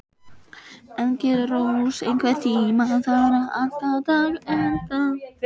Engilrós, einhvern tímann þarf allt að taka enda.